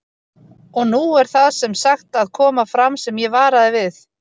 Og nú er það sem sagt að koma fram sem ég varaði við